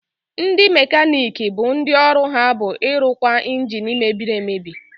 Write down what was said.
Ndị mekaniiki bụ ndị ọrụ ha bụ ịrụkwa ịnjini mebiri emebi.